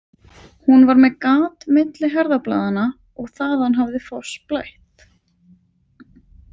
Hún var með gat milli herðablaðanna og þaðan hafði fossblætt.